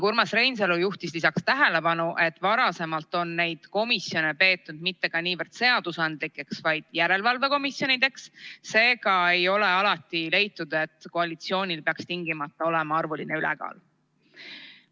Urmas Reinsalu juhtis lisaks tähelepanu, et varem on neid komisjone peetud mitte niivõrd seadusandlikeks, kuivõrd järelevalve komisjonideks, seega ei ole alati leitud, et koalitsioonil peaks tingimata olema arvuline ülekaal.